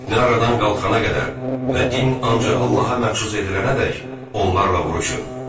Fitnə aradan qalxana qədər və din ancaq Allaha məxsus edilənədək onlarla vuruşun.